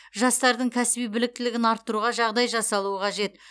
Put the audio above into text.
жастардың кәсіби біліктілігін арттыруға жағдай жасалуы қажет